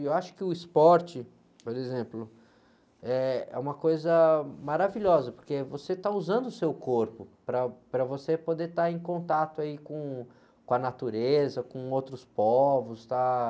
E eu acho que o esporte, por exemplo, eh, é uma coisa maravilhosa, porque você está usando o seu corpo para, para você poder estar em contato aí, com, com a natureza, com outros povos, estar...